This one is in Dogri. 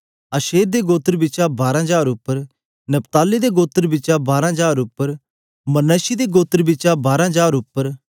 आशेर दे गोत्र बिचा बारां हजार उप्पर नप्ताली दे गोत्र बिचा बारां हजार उप्पर मनश्शिह दे गोत्र बिचा बारां हजार उप्पर